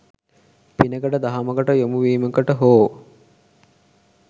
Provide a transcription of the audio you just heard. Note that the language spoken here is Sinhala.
පිනකට, දහමකට යොමු වීමකට හෝ